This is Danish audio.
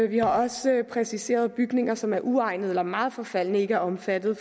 vi har også præciseret at bygninger som er uegnede eller meget forfaldne ikke er omfattet